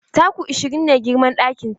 Taku ashirin ne girman ɗakin ta.